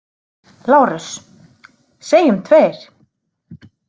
LÁRUS: Segjum tveir!